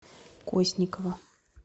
косникова